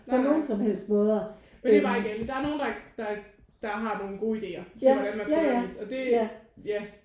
Nej nej. Men det er bare igen der er nogen der der der har nogen gode ideer til hvordan man skal undervise og det ja